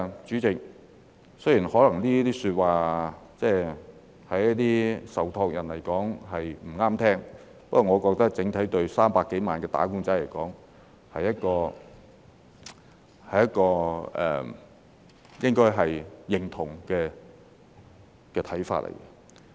主席，雖然這些說話對一些受託人來說可能不中聽，不過我覺得整體對300多萬名"打工仔"來說，他們應該會認同這看法。